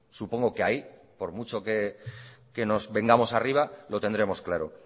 supongo que ahí por mucho que nos vengamos arriba lo tendremos claro